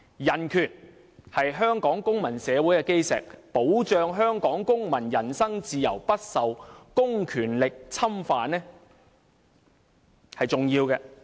人權是香港公民社會的基石，保障香港公民人身自由不受公權力侵犯，是重要的。